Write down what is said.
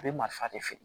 A bɛ marifa de feere